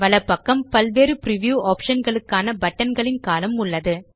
வலப்பக்கம் பல்வேறு preview option களுக்கான பட்டன் களின் கோலம்ன் உள்ளது